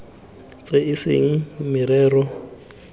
tse e seng merero ya